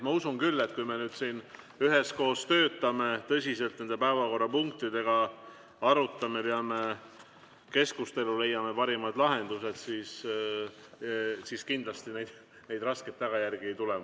Ma usun küll, et kui me nüüd siin üheskoos töötame tõsiselt nende päevakorrapunktidega, arutame, peame keskustelu, leiame parimad lahendused, siis kindlasti neid raskeid tagajärgi ei tule.